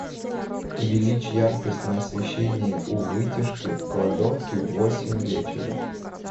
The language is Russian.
увеличь яркость на освещении у вытяжки в кладовке в восемь вечера